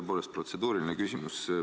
Tõepoolest on protseduuriline küsimus.